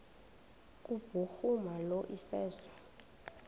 kubhuruma lo iseso